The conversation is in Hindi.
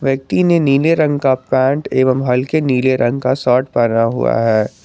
व्यक्ति ने नीले रंग का पेंट एवं हल्के नीले रंग का शर्ट पहना हुआ है।